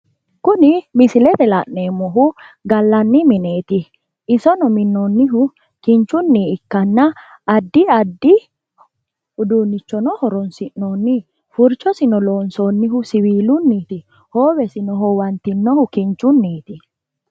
Kuni misilete la'neemmohu gallanni mineeti isono minnoonnihu kinchunni ikkanna addi addi uduunnichono horonsi'noonni furchosino loonsoonnihu siiwilinniiti hoowesino hoowantinohu kinchunniiti